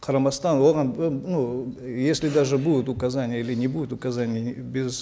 қарамастан оған ы ну если даже будут указания или не будет указаний без